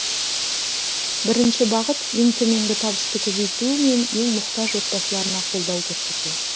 бірінші бағыт ең төменгі табысты көбейту мен ең мұқтаж отбасыларына қолдау көрсету